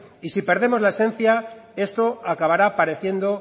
y si perdemos la esencia esto acabará pareciendo